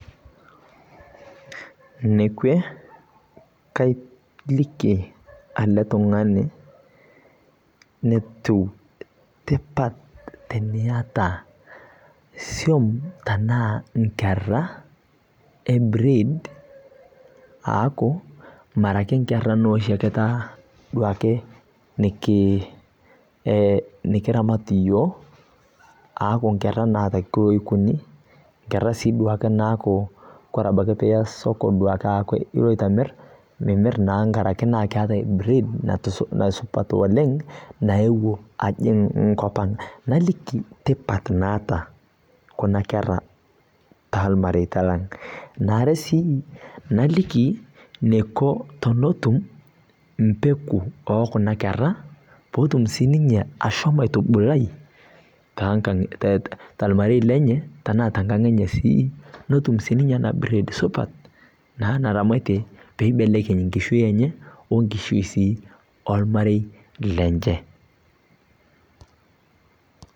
Ene kwe kaliki ele tung'ani enetu tipat teniata siom anaa inkera, e breed, aaku Mera taa inkera e oshi ake nikiramat iyiok, aaku inkera naake eikuni, inkera naake naa ore duake pee iya soko neaku iloito amir, naa angaraki eatai naa breed naa supat oleng' naewuo ajing' nkop ang. Neaku naliki tipat naata kuna kera toolmareita lang'. Ene are sii naliki neiko teneton pee etum mpeku ok kuna kera peetum sii ninye ashomo aitubulai talmarei lenye anaa tenkang' enye sii , netum sii ninye ena breed supat naa naramatie naa peeramatie naa enkishui enye o enkishui sii olmarei lenye.